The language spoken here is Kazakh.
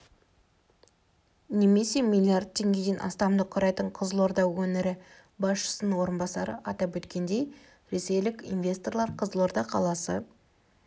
немесе млрд теңгеден астамды құрайды қызылорда өңірі басшысының орынбасары атап өткендей ресейлік инвесторлар қызылорда қаласы